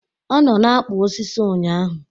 Ọ nọ na-akpụ osisi ụnyaahụ